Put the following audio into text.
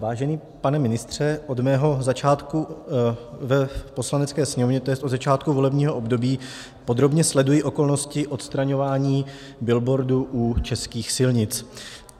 Vážený pane ministře, od svého začátku v Poslanecké sněmovně, to je od začátku volebního období, podrobně sleduji okolnosti odstraňování billboardů u českých silnic.